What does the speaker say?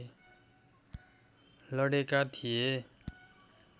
लडेका थिए